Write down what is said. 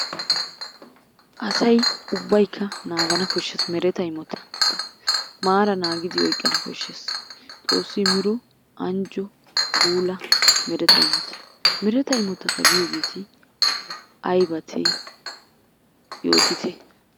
Asay ubbaykka naagana koshshees mereta imotata. Maaran naagidi oyqqana koshshees. Xoossi immido anjjo puula mereta imotata. Mereta imotata giyoogeeti aybate yootite?